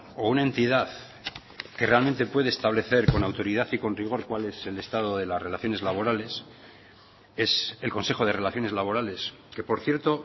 o una entidad que realmente puede establecer con autoridad y con rigor cuál es el estado de las relaciones laborales es el consejo de relaciones laborales que por cierto